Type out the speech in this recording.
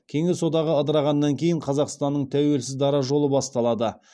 кеңес одағы ыдырағаннан кейін қазақстанның тәуелсіз дара жолы басталады